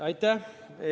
Aitäh!